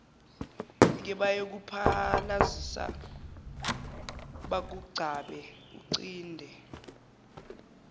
kebayokuphalazisa bakugcabe uncinde